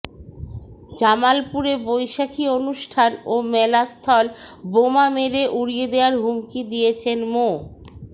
জামালপুরে বৈশাখী অনুষ্ঠান ও মেলাস্থল বোমা মেরে উড়িয়ে দেওয়ার হুমকি দিয়েছেন মো